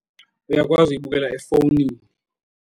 Uyakwazi uyibukela efowunini.